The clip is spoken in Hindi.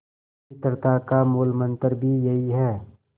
मित्रता का मूलमंत्र भी यही है